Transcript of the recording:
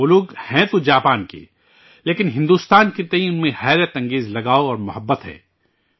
وہ لوگ ہیں تو جاپان کے ، لیکن بھارت کے تئیں ان میں غضب کا لگاؤ اور محبت ہے